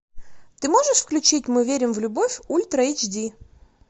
ты можешь включить мы верим в любовь ультра эйч ди